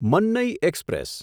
Mannai express